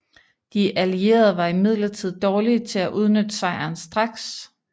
De Allierede var imidlertid dårlige til at udnytte sejren straks